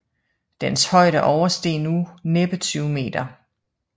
Dens højde oversteg nu næppe 20 m